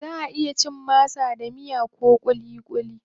Zaʼa iya cin masa da miya ko kulikuli.